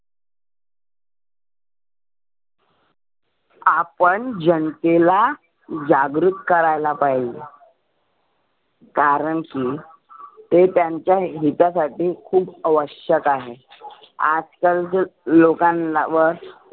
आपण जनतेला जागृत करायला पाहिजे कारण की ते त्यांच्या हिता साठी खुप आवश्यक आहे. आजकाल जर लोकांना व